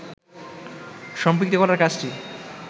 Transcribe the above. সম্পৃক্ত করার কাজটি